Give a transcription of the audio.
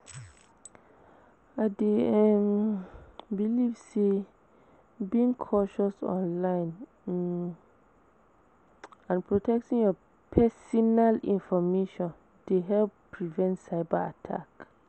I dey um believe say being cautious online um and protecting your pesinal information dey help prevent cyber attack.